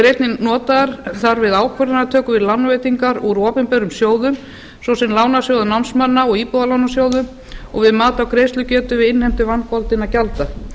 eru einnig notaðar þar við ákvarðanatöku við lánveitingar úr opinberum sjóðum svo sem lánasjóðum námsmanna og íbúðalánasjóðum og við mat á greiðslugetu við innheimtu vangoldinna gjalda